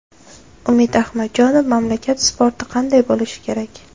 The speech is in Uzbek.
Umid Ahmadjonov: Mamlakat sporti qanday bo‘lishi kerak?